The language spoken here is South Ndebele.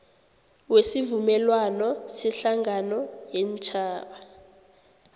wesivumelwano sehlangano yeentjhaba